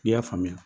I y'a faamuya